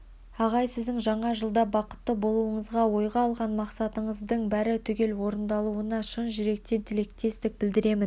ағай сіздің жаңа жылда бақытты болуыңызға ойға алған мақсатыңыздың бәрі түгел орындалуына шын жүректен тілектестік білдіремін